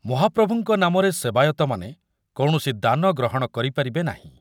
ମହାପ୍ରଭୁଙ୍କ ନାମରେ ସେବାୟତମାନେ କୌଣସି ଦାନ ଗ୍ରହଣ କରିପାରିବେ ନାହିଁ ।